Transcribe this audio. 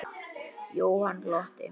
Jóhann glotti.